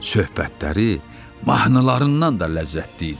Söhbətləri mahnılarından da ləzzətli idi.